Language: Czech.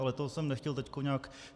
Ale to jsem nechtěl teď nějak...